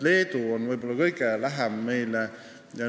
Leedu on meile võib-olla kõige lähedasem.